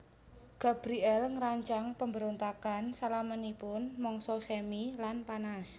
Gabriel ngrancang pambrontakan salaminipun mangsa semi lan panas